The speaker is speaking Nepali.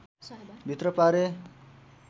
भित्र पारे